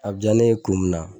A bɛ diya ne ye kun min na